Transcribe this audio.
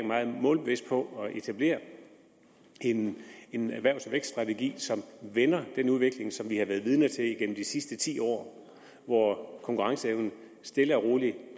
meget målbevidst på at etablere en erhvervs og vækststrategi som vender den udvikling som vi har været vidner til igennem de sidste ti år hvor konkurrenceevnen stille og roligt